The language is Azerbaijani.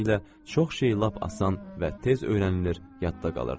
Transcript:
Beləliklə çox şey lap asan və tez öyrənilir, yadda qalırdı.